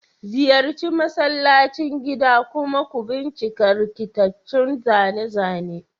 Ziyarci masallacin gida kuma ku bincika rikitattun zane-zane.